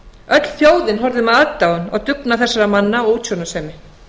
öll þjóðin horfði með aðdáun á dugnað þessara manna og útsjónarsemi